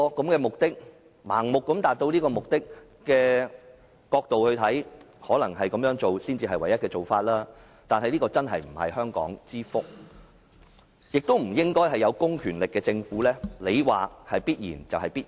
為盲目地達到目的，這可能是唯一做法，但真的不是香港之福，亦不應該是有公權力的政府說是必然就是必然。